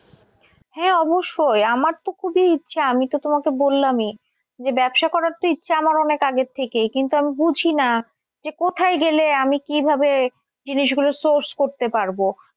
হ্যাঁ অবশ্যই আমার তো খুবই ইচ্ছা আমি তো তোমাকে বললামই যে ব্যবসা করার তো ইচ্ছা আমার অনেক আগে থেকেই। কিন্তু আমি বুঝিনা যে কোথায় গেলে আমি কিভাবে জিনিস গুলো source করতে পারবো।